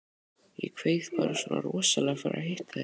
Ég kveið bara svona rosalega fyrir að hitta þig.